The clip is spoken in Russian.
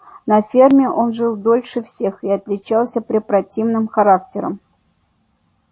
на ферме он жил дольше всех и отличался препротивным характером